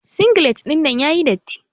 Singilet ɗinnan yayi datti.